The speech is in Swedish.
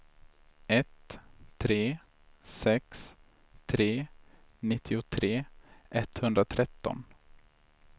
ett tre sex tre nittiotre etthundratretton